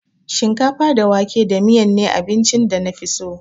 Shinkafa da wake da miyan ne abincin da na fi so.